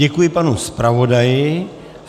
Děkuji panu zpravodaji.